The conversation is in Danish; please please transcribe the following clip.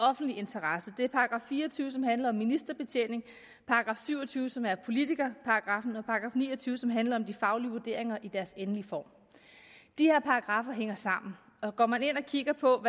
offentlig interesse det er § fire og tyve som handler om ministerbetjening § syv og tyve som er politikerparagraffen og § ni og tyve som handler om de faglige vurderinger i deres endelige form de her paragraffer hænger sammen og går man ind og kigger på